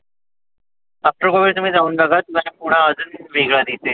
आता तुम्ही जाऊन बघा तुम्हाला पुणं अजुन वेगळ दिसेल.